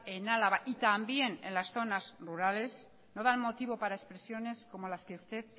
en álava y también en las zonas rurales no dan motivo para expresiones como las que usted